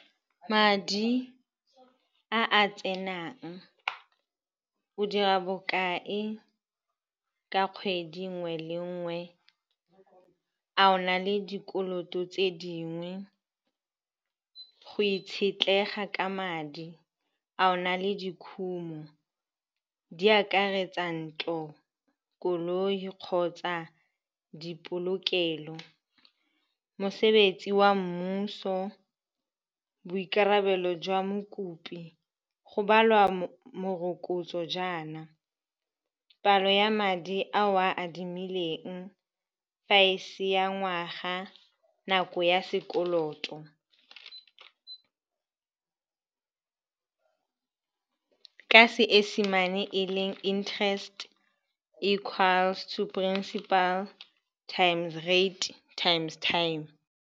Madi a a tsenang, o dira bokae ka kgwedi nngwe le nngwe. A o na le dikoloto tse dingwe go itshetlega ka madi a ona le dikhumo di akaretsa ntlo, koloi kgotsa dipolokelo, mosebetsi wa mmuso, boikarabelo jwa mokopi go balwa morokotso. Jaana palo ya madi a o a adimileng, fa ese ya ngwaga, nako ya sekoloto, ka seesemane e leng interest-e, is equal to principal times rate times time.